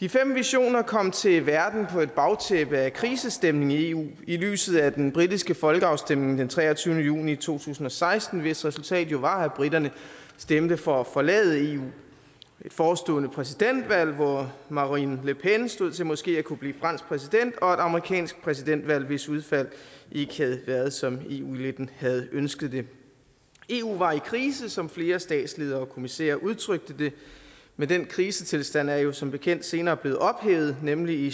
de fem visioner kom til verden på et bagtæppe af krisestemning i eu i lyset af den britiske folkeafstemning den treogtyvende juni to tusind og seksten hvis resultat jo var at briterne stemte for at forlade eu et forestående præsidentvalg hvor marine le pen stod til måske at kunne blive fransk præsident og et amerikansk præsidentvalg hvis udfald ikke havde været som eu eliten havde ønsket det eu var i krise som flere statsledere og kommissærer udtrykte det men den krisetilstand er jo som bekendt senere blevet ophævet nemlig i